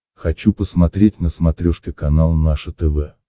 хочу посмотреть на смотрешке канал наше тв